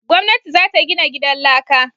Gwamnati za ta gina gidan laka